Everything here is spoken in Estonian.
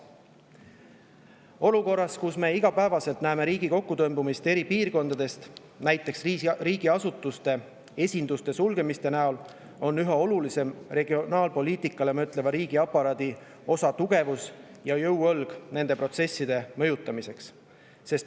Olukorras, kus me igapäevaselt näeme riigi kokkutõmbumist eri piirkondades, näiteks suletakse riigiasutuste esindusi, on üha olulisem regionaalpoliitikale mõtleva riigiaparaadi osa tugevus ja jõuõlg nende protsesside mõjutamiseks.